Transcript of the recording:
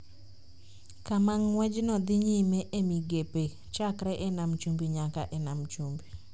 kama ng’wejno dhi nyime e migepe chakre e nam chumbi nyaka e nam chumbi.